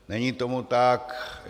Není tomu tak.